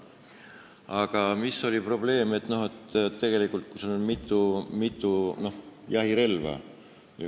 Aga probleem tekib siis, kui sul on mitu jahirelva.